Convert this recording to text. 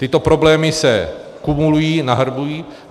Tyto problémy se kumulují, nahrnují.